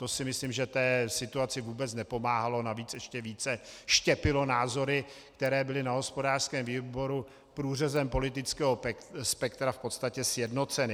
To si myslím, že té situaci vůbec nepomáhalo, navíc ještě více štěpilo názory, které byly na hospodářském výboru průřezem politického spektra v podstatě sjednoceny.